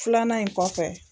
Filanan in kɔfɛ.